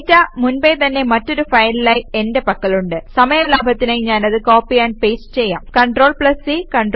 data മുൻപേ തന്നെ മറ്റൊരു ഫയലിലായി എന്റെ പക്കലുണ്ട് സമയ ലാഭത്തിനായി ഞാനത് കോപ്പി ആംപ് പേസ്റ്റ് ചെയ്യാം CTRLC CTRLV